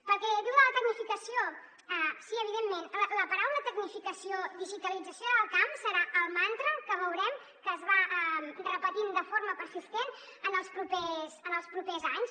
pel que diu de la tecnificació sí evidentment la paraula tecnificació digitalització del camp serà el mantra que veurem que es va repetint de forma persistent en els propers anys